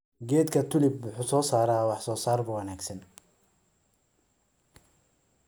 Geedka tulip wuxuu soo saaraa wax soo saar wanaagsan.